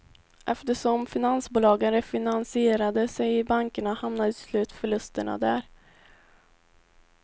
Eftersom finansbolagen refinansierade sig i bankerna hamnade till slut förlusterna där.